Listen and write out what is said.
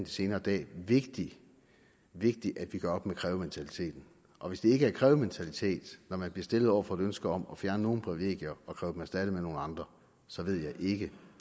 senere dage vigtigt at vi gør op med krævementaliteten og hvis det ikke er krævementalitet når man bliver stillet over for et ønske om at fjerne nogle privilegier at kræve dem erstattet af nogle andre så ved jeg ikke